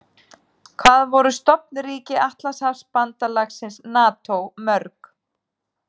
Hvað voru stofnríki Atlantshafsbandalagsins NATO mörg?